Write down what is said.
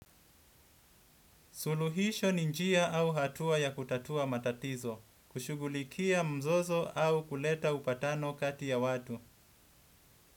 Suluhisho ni njia au hatua ya kutatua matatizo, kushughulikia mzozo au kuleta upatano kati ya watu.